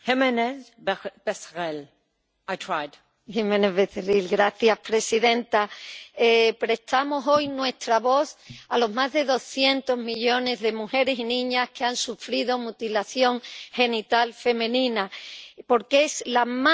Señora presidenta, prestamos hoy nuestra voz a los más de doscientos millones de mujeres y niñas que han sufrido mutilación genital femenina, porque es la más grave violación de los derechos humanos.